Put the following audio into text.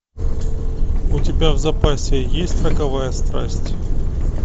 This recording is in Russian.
у тебя в запасе есть роковая страсть